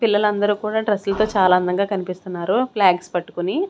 పిల్లలందరూ కూడా డ్రెస్సులతో చాలా అందంగా కనిపిస్తున్నారు ఫ్లాగ్స్ పట్టుకొని.